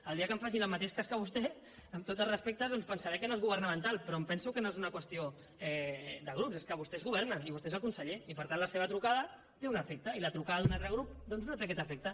el dia que em facin el mateix cas que a vostè amb tots els respectes doncs pensaré que no és governamental però em penso que no és una qüestió de grups és que vostès governen i vostè és el conseller i per tant la seva trucada té un efecte i la trucada d’un altre grup doncs no té aquest efecte